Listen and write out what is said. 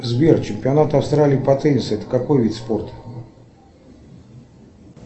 сбер чемпионат австралии по теннису это какой вид спорта